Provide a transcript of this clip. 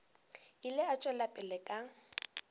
ile a tšwela pele ka